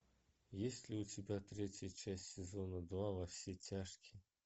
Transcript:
есть ли у тебя третья часть сезона два во все тяжкие